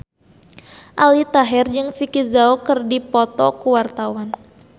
Aldi Taher jeung Vicki Zao keur dipoto ku wartawan